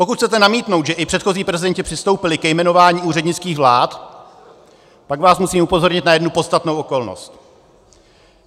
Pokud chcete namítnout, že i předchozí prezidenti přistoupili ke jmenování úřednických vlád, pak vás musím upozornit na jednu podstatnou okolnost.